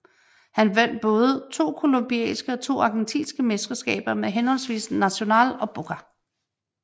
Han vandt både to colombianske og to argentinske mesterskaber med henholdsvis Nacional og Boca